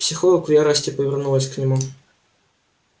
психолог в ярости повернулась к нему